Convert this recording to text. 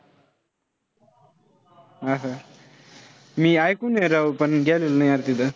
असं मी ऐकून आहे राव, पण गेलेलो नाही अरे तिथं.